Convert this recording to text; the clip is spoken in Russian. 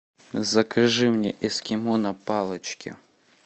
закажи мне эскимо на палочке